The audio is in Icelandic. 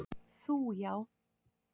Þú já.